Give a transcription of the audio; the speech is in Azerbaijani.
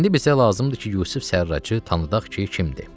İndi bizə lazımdır ki, Yusif Sərracı tanıdaq ki, kimdir.